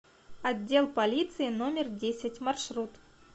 отдел полиции номер десять маршрут